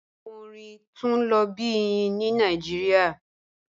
Awọn ọ̀rìn tun lo bi iyin ni Nigeria